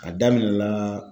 A daminɛ la